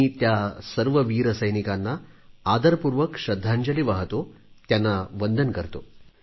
मी त्या सर्व वीर सैनिकांना आदरपूर्वक श्रद्धांजली वाहतो त्यांना वंदन करतो